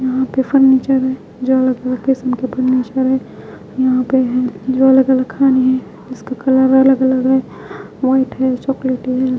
यहां पे फर्नीचर है जो अलग-अलग किस्म के फर्नीचर है यहां पे हैं जो अलग-अलग है खाने है जिसका कलर अलग-अलग है व्हाइट हैं चॉकलेटी है।